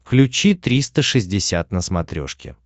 включи триста шестьдесят на смотрешке